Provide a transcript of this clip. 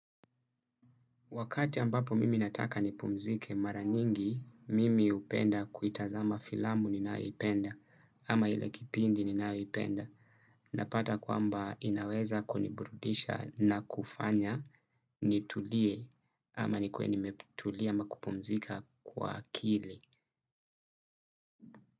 Wakati ambapo mimi nataka nipumzike mara nyingi, mimi hupenda kuitazama filamu ninayoipenda ama ile kipindi ninayoipenda. Napata kwamba inaweza kuniburudisha na kufanya nitulie ama nikuwe nimetulia ama kupumzika kwa akili.